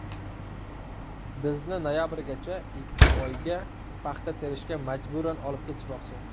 Bizni noyabrgacha ikki oyga paxta terishga majburan olib ketishmoqchi.